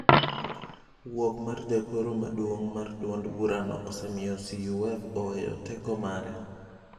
Wuok mar Jagoro maduong' mar duond burano osemiyo CUF oweyo teko mare.